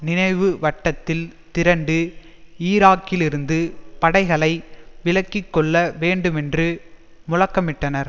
நினைவு வட்டத்தில் திரண்டு ஈராக்கிலிருந்து படைகளை விலக்கி கொள்ள வேண்டுமென்று முழக்கமிட்டனர்